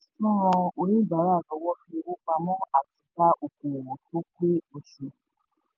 ń ran oníbàárà lọ́wọ́ fi owó pamọ́ àti dá okoòwò tó pé oṣù